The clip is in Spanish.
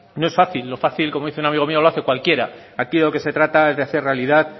no es fácil lo fácil como dice un amigo mío lo hace cualquiera aquí de lo que se trata es de hacer realidad